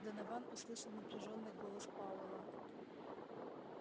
донован услышал напряжённый голое пауэлла